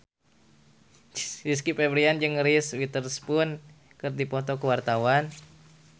Rizky Febian jeung Reese Witherspoon keur dipoto ku wartawan